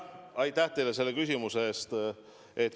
Aitäh teile selle küsimuse eest!